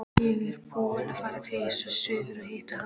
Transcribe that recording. Ég er búinn að fara tvisvar suður að hitta hana.